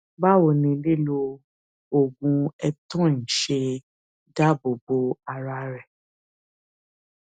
báwo ni lílo oògùn eptoin ṣe dáàbò bo ara rẹ